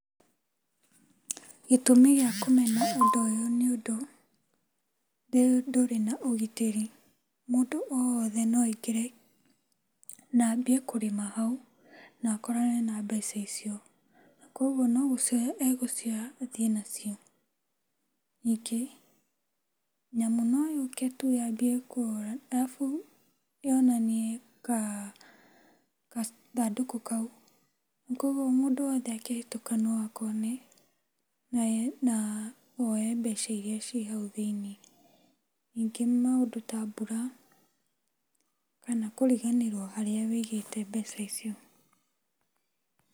Gĩtũmi gĩa kũmena ũndũ ũyũ nĩ ũndũ ndũrĩ na ũgitĩri, mũndũ o wothe no okĩre na aambie kũrĩma hau na akorane na mbeca icio, koguo nĩ gucioya egũcioya athiĩ nacio, nyingĩ nyamũ no yũkĩ tu yaambie kũrĩa arabu yone gathandũkũ kau, koguo mũndũ wothe akĩhĩtũka no akone na oye mbeca iria ciĩ hau thĩinĩ. Nyingĩ maũndũ ta mbura kana kũriganĩrwo harĩa wĩigĩte mbeca icio.